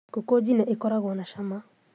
Ngũkũnjine ĩkoragwo na cama